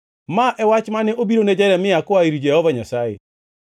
Ma e wach mane obirone Jeremia koa ir Jehova Nyasaye: